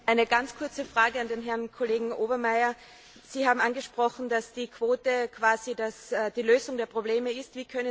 Eine ganz kurze Frage an Herrn Kollegen Obermayr Sie haben angesprochen, dass die Quote quasi die Lösung der Probleme ist.